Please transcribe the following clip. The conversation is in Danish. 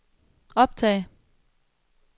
optag